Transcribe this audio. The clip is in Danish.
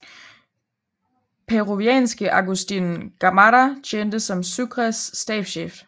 Peruanske Agustín Gamarra tjente som Sucres stabschef